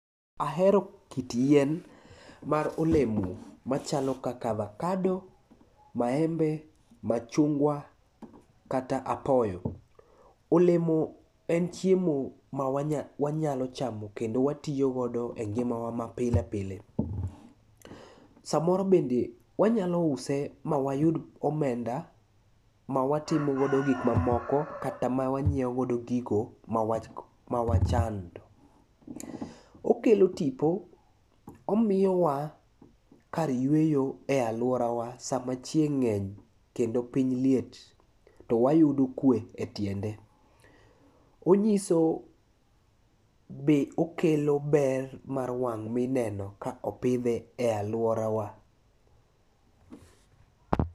Ahero kit yien mar olemo machalo kaka avakado, maembe, machungwa kata apoyo. Olemo en chiemo ma wanyalo chamo kendo watiyogodo e ngimawa mapile pile. Samoro bende wanyalo use ma wayud omenda ma watimogodo gik mamoko kata ma wanyieogodo gigo ma wachando. Okelo tipo omiyowa kar yueyo e alworawa sama chieng' ng'eny kendo piny liet to wayudo kwe e tiende. Onyiso be okelo ber mar wang' mineno ka opidhe e alworawa.